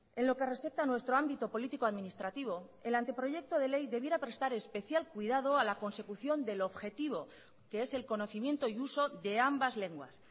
en lo que respeta a nuestro ámbito político administrativo el anteproyecto de ley debiera prestar especial cuidado a la consecución del objetivo que es el conocimiento y uso de ambas lenguas